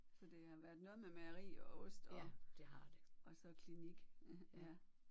Så det har været noget med mejeri og ost og og så klinik ja